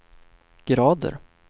grader